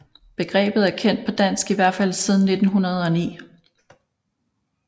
Begrebet er kendt på dansk i hvert fald siden 1909